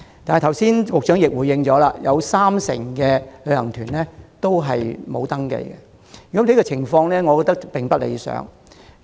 不過，局長剛才亦指出，仍有三成旅行團沒有登記，我認為情況並不理想。